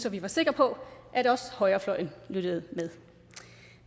at vi var sikre på at også højrefløjen lyttede med